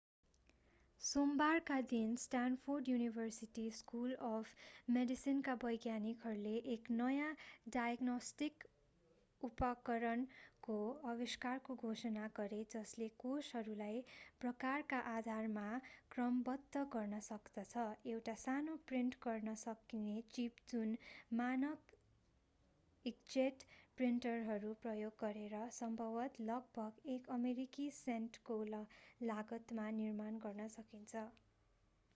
सोमबारका दिन Stanford university school of मेडिसिनका वैज्ञानिकहरूले एक नयाँ डायग्नोस्टिक उपकरणको आविष्कारको घोषणा गरे जसले कोषहरूलाई प्रकारका आधारमा क्रमबद्ध गर्न सक्दछः एउटा सानो प्रिन्ट गर्न सकिने चिप जुन मानक ईंकजेट प्रिन्टरहरू प्रयोग गरेर सम्भवतः लगभग एक अमेरिकी सेन्टको लागतमा निर्माण गर्न सकिन्छ